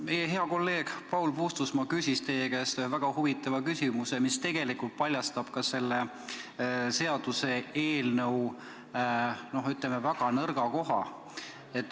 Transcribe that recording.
Meie hea kolleeg Paul Puustusmaa küsis teie käest ühe väga huvitava küsimuse, mis tegelikult paljastab ka selle seaduseelnõu väga nõrga koha.